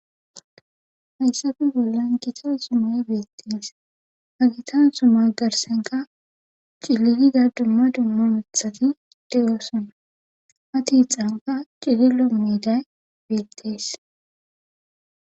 hayssafe bollan gita sumay beettees hagitan sumay garsenka ciliida dumma dumma mithati deyoosana ha tiixanka cililo miiday beettees